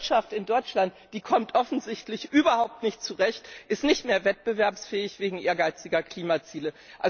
Diese Wirtschaft in Deutschland kommt offensichtlich nicht zurecht, ist nicht mehr wettbewerbsfähig wegen ehrgeiziger Klimaziele.